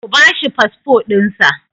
Ku ba shi fasfo ɗinsa!